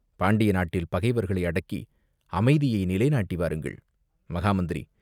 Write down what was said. பாண்டிய நாட்டில் பகைவர்களை அடக்கி அமைதியை நிலை நாட்டி வாருங்கள்!" "மகா மந்திரி!